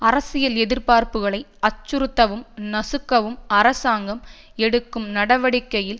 அரசியல் எதிர்பார்புகளை அச்சுறுத்தவும் நசுக்கவும் அரசாங்கம் எடுக்கும் நடவடிக்கையில்